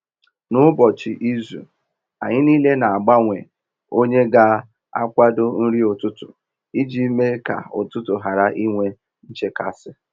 N’ụbọchị izu, anyị niile na-agbanwe onye ga akwado nri ụtụtụ iji mee ka ụtụtụ ghara inwe nchekasị